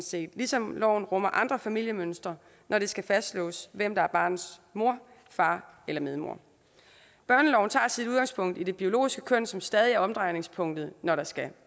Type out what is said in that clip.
set ligesom loven rummer andre familiemønstre når det skal fastslås hvem der er barnets mor far eller medmor børneloven tager sit udgangspunkt i det biologiske køn som stadig er omdrejningspunktet når der skal